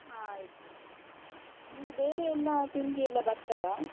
ಹ ಆಯ್ತು, ನಿನ್ಗೆ ಬೇರೆ ಎಲ್ಲ ತಿಂಡಿ ಎಲ್ಲ ಬರ್ತದಾ?